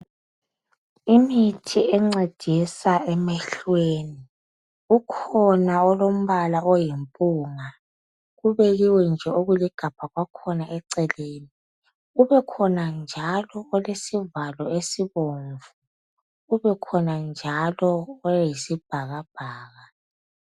Imithi encedisa emehlweni, ukhona olombala oyimpunga. Kubekiwe nje okuligabha kwakhona eceleni, kubekhona njalo olesivalo esibomvu, kubekhona njalo oyisibhakabhaka.